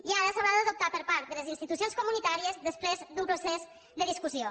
i ara s’haurà d’adoptar per part de les institucions comunitàries després d’un procés de discussió